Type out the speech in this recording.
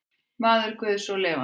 Maður guðs og lifandi.